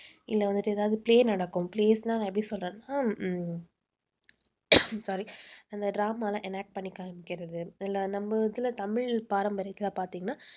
இல்ல வந்துட்டு ஏதாவது play நடக்கும் plays ன்னா நான் எப்படி சொல்றதுன்னா உம் sorry அந்த drama எல்லாம் enact பண்ணி காமிக்கிறது. இல்லை நம்ம இதில தமிழ் பாரம்பரியத்தில பார்த்தீங்கன்னா